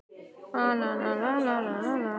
Þar á hann við að garnir fiska eru oft hringvafðar.